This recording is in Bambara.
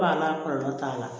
Ba la kɔlɔlɔ t'a la